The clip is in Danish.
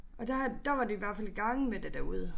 Og der har der var de i hvert fald i gang med det derude